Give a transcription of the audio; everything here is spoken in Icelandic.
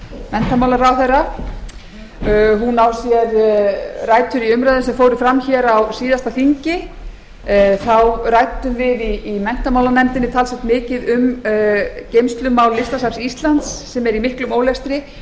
menntamálaráðherra á sér rætur í umræðum sem fóru fram hér á síðasta þingi þá ræddum við í menntamálanefndinni talsvert mikið um geymslumál listasafns íslands sem er í miklum ólestri